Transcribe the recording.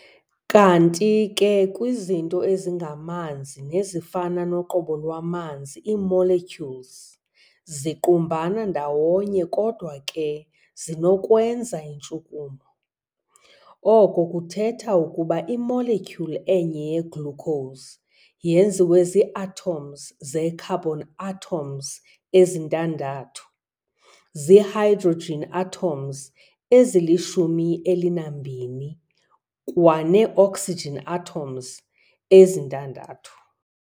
Kanti ke kwizinto ezilngamanzi lezifana noqobo lwamanzi, ii-molecules ziqumbana ndawonye kodwa ke zisenokwenza intshukumo. Oko kuthetha ukuba i-molecule enye ye-glucose yenziwe zii-atoms ze-carbon atoms ezintandathu, zii-hydrogen atoms ezilishumi elinambini kwanee-oxygen atoms ezintandathu.